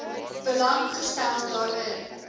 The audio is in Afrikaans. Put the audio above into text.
belang gestel daarin